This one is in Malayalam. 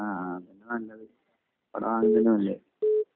ആഹ് ആഹ് അതാ നല്ലത്